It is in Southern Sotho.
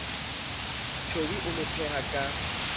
towe o mo phetha ka